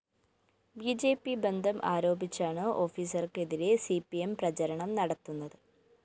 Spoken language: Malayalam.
ബി ജെ പി ബന്ധം ആരോപിച്ചാണ് ഓഫീസര്‍ക്ക് എതിരെ സി പി എം പ്രചരണം നടത്തുന്നത്